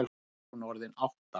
Er hún orðin átta?